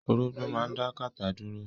Orógbo máa dá kátà dúró.